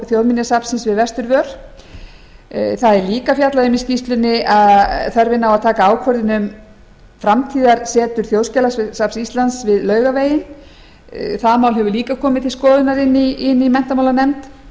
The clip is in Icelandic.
þjóðminjasafnsins við vesturvör það er líka fjallað um í skýrslunni þörfina á að taka ákvörðun um framtíðarsetur þjóðskjalasafns íslands við laugaveginn það mál hefur líka komið til skoðunar inni í menntamálanefnd